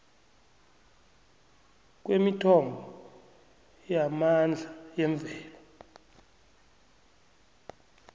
kwemithombo yamandla yemvelo